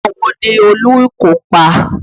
Àwọn wo ni olùkópa?